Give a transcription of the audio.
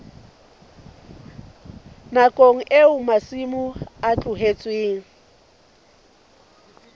nakong eo masimo a tlohetsweng